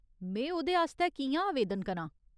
में ओह्दे आस्तै कि'यां आवेदन करां ?